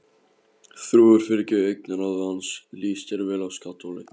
þrúður fylgir augnaráði hans, líst þér vel á skattholið?